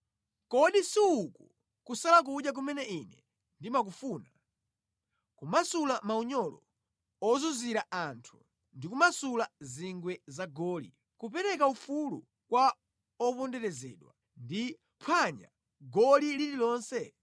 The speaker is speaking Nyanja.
“Kodi si uku kusala kudya kumene Ine ndimakufuna: Kumasula maunyolo ozunzizira anthu ndi kumasula zingwe za goli, kupereka ufulu kwa oponderezedwa ndi kuphwanya goli lililonse?